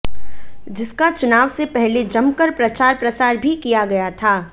जिसका चुनाव से पहले जमकर प्रचार प्रसार भी किया गया था